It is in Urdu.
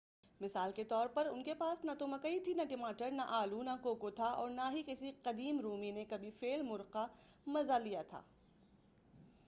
مثال کے طور ان کے پاس نہ تو مکئی تھی نہ ٹماٹر نہ آلو نہ کوکو تھا اور نہ ہی کسی قدیم رومی نے کبھی فیل مُرغ کا مزہ لیا تھا